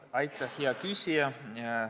Aitäh, hea küsija!